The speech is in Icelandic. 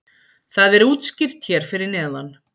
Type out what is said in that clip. það er útskýrt hér fyrir neðan